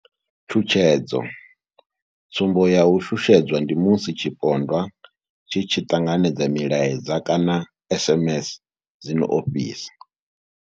Tshutshedzo tsumbo ya u shushedzwa ndi musi tshipondwa tshi tshi ṱanganedza milaedza kana SMS dzi no ofhisa.